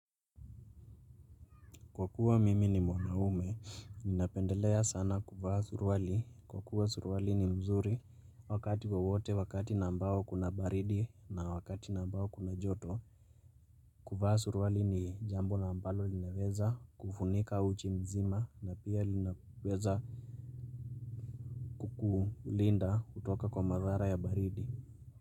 Kwa kuwa mimi ni mwanaume ninapendelea sana kuvaa suruali, kwa kuwa suruali ni mzuri wakati wowote, wakati nambao kuna baridi na wakati nambao kuna joto. Kuvaa surwali ni jambo ambalo linaweza kufunika uchi mzima na pia linaweza hulinda kutoka kwa madhara ya baridi.